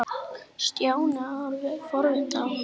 Stjáni horfði forviða á hann.